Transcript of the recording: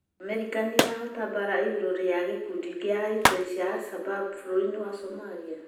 Amerika nĩrahota mbara igũrũ ria gĩkundi gĩa itioi kia Alshabab bũrũri wa Somalia?